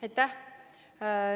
Aitäh!